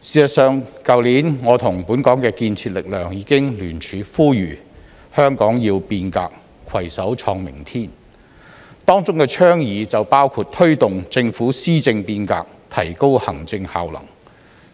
事實上，去年我與本港的建設力量已聯署呼籲"香港要變革攜手創明天"，當中的倡議包括推動政府施政變革，提高行政效能，